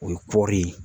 O ye kɔri ye